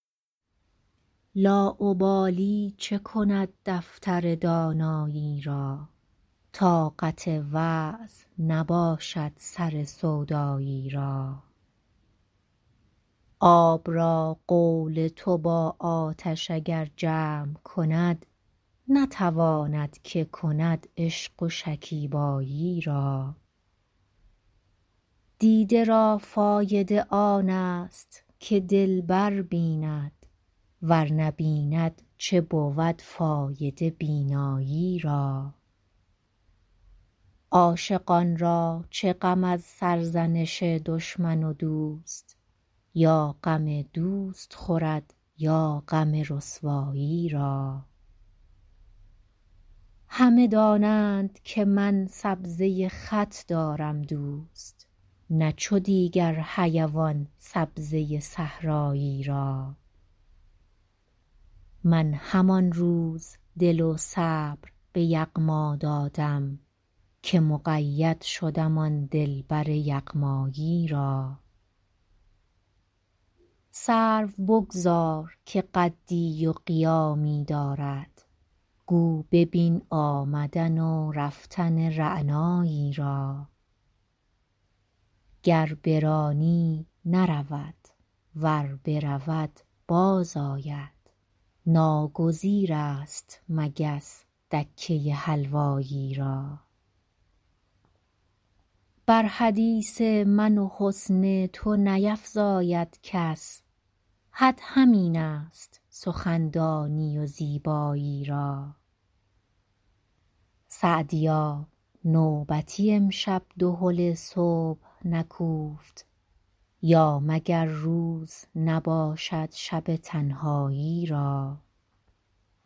لاابالی چه کند دفتر دانایی را طاقت وعظ نباشد سر سودایی را آب را قول تو با آتش اگر جمع کند نتواند که کند عشق و شکیبایی را دیده را فایده آن است که دلبر بیند ور نبیند چه بود فایده بینایی را عاشقان را چه غم از سرزنش دشمن و دوست یا غم دوست خورد یا غم رسوایی را همه دانند که من سبزه خط دارم دوست نه چو دیگر حیوان سبزه صحرایی را من همان روز دل و صبر به یغما دادم که مقید شدم آن دلبر یغمایی را سرو بگذار که قدی و قیامی دارد گو ببین آمدن و رفتن رعنایی را گر برانی نرود ور برود باز آید ناگزیر است مگس دکه حلوایی را بر حدیث من و حسن تو نیفزاید کس حد همین است سخندانی و زیبایی را سعدیا نوبتی امشب دهل صبح نکوفت یا مگر روز نباشد شب تنهایی را